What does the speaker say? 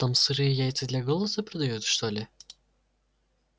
там сырые яйца для голоса продают что ли